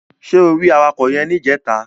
Ṣé o rí awakọ̀ yẹn níjẹta?